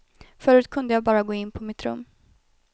Förut kunde jag bara gå in på mitt rum.